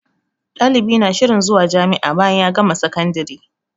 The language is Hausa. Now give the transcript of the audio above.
Ɗalibi na shirin zuwa jami'a bayan ya gama sakandire